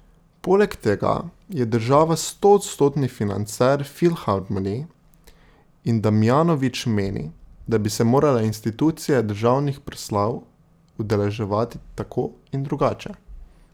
Poleg tega je država stoodstotni financer filharmonij in Damjanovič meni, da bi se morale institucije državnih proslav udeleževati tako in drugače.